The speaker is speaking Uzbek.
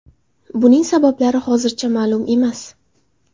Buning sabablari hozircha ma’lum emas.